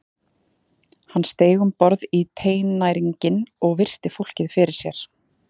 Hann steig um borð í teinæringinn og virti fólkið fyrir sér.